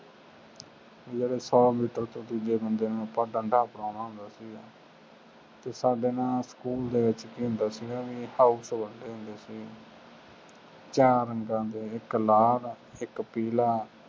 ਜਦੋਂ ਸੌ ਮੀਟਰ ਤੋਂ ਦੂਜੇ ਬੰਦੇ ਨੂੰ ਆਪਾਂ ਡੰਡਾ ਫੜ੍ਹਾਉਣਾ ਹੁੰਦਾ ਸੀਗਾ ਅਤੇ ਸਾਡੇ ਨਾ ਸਕੂਲ ਦੇ ਵਿੱਚ ਕੀ ਹੁੰਦਾ ਸੀਗਾ ਬਈ house ਵੰਡਦੇ ਹੁੰਦੇ ਸੀ ਚਾਰ ਰੰਗਾਂ ਦੇ, ਇੱਕ ਲਾਲ, ਇੱਕ ਪੀਲਾ,